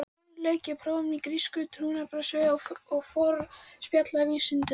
Um vorið lauk ég prófum í grísku, trúarbragðasögu og forspjallsvísindum.